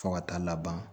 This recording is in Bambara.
Fo ka taa laban